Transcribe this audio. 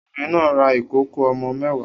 Obìnrin náà ra ìkòkò ọmọ mẹ́wàá